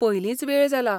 पयलींच वेळ जाला.